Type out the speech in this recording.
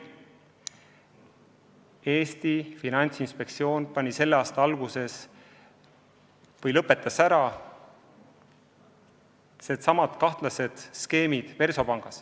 Eesti Finantsinspektsioon lõpetas selle aasta alguses ära samasugused kahtlased skeemid Versobankis.